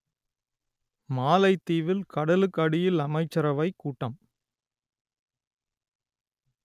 மாலைதீவில் கடலுக்கடியில் அமைச்சரவைக் கூட்டம்